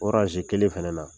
O kelen fɛnɛ na.